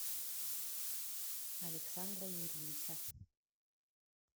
александра юрьевича